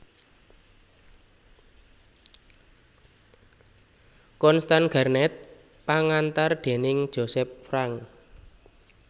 Constance Garnett pangantar déning Joseph Frank